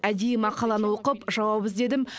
әдейі мақаланы оқып жауап іздедім